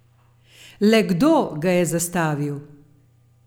Le kdo ga je zastavil?